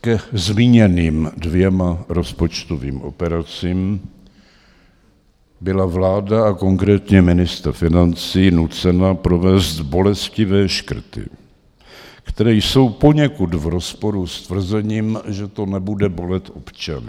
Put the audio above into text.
ke zmíněným dvěma rozpočtovým operacím, byla vláda a konkrétně ministr financí nucena provést bolestivé škrty, které jsou poněkud v rozporu s tvrzením, že to nebude bolet občany.